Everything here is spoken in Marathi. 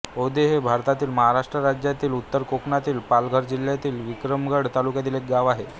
ओंदे हे भारतातील महाराष्ट्र राज्यातील उत्तर कोकणातील पालघर जिल्ह्यातील विक्रमगड तालुक्यातील एक गाव आहे